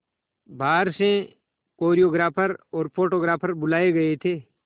बाहर से कोरियोग्राफर और फोटोग्राफर बुलाए गए थे